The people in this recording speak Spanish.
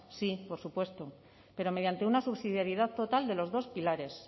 sí por supuesto pero mediante una subsidiaridad total de los dos pilares